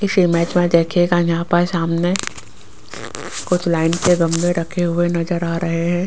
इस इमेज में देखिएगा यहां पर सामने कुछ लाइन के गमले रखे हुए नजर आ रहे है।